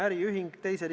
Jürgen Ligi, palun!